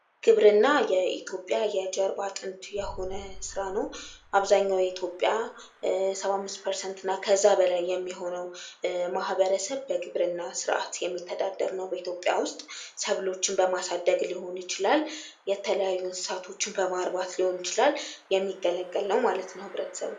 ግብርና የኢትዮጵያ የጀርባ አጥንት የሆነ ስራ ነው። አብዛኛው የኢትዮጵያ ሰባ አምስት ፐርሰንትና ከዚያ በላይ የሚሆነው ማህበረሰብ በግብርና ስራ የሚተዳደር ነው ኢትዮጵያ ውስጥ። ሰብሎችን በማሳደግ ሊሆን ይችላል፣ የተለያዩ እንስሳቶችን በማርባት ሊሆን ይችላል። የሚገለገል ነው ማለት ነው ህብረተሰቡ።